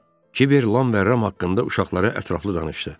Kiber Lam və Ram haqqında uşaqlara ətraflı danışdı.